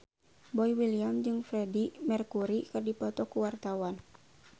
Boy William jeung Freedie Mercury keur dipoto ku wartawan